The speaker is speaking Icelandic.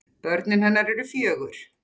Börn hennar eru fjögur.